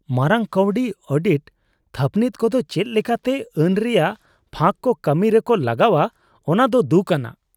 ᱢᱟᱨᱟᱝ ᱠᱟᱹᱣᱰᱤ ᱚᱰᱤᱴ ᱛᱷᱟᱹᱯᱱᱤᱛ ᱠᱚᱫᱚ ᱪᱮᱫ ᱞᱮᱠᱟᱛᱮ ᱟᱹᱱ ᱨᱮᱭᱟᱜ ᱯᱷᱟᱸᱠ ᱠᱚ ᱠᱟᱹᱢᱤ ᱨᱮᱠᱚ ᱞᱟᱜᱟᱣᱟ ᱚᱱᱟᱫᱚ ᱫᱩᱠᱼᱟᱱᱟᱜ ᱾